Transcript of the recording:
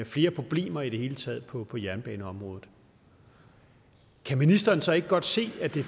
flere problemer i det hele taget på på jernbaneområdet kan ministeren så ikke godt se at det